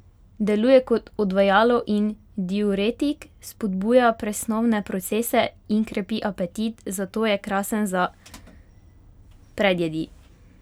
Deluje kot odvajalo in diuretik, spodbuja presnovne procese in krepi apetit, zato je krasen za predjedi.